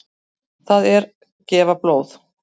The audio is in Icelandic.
Það er gefa blóð.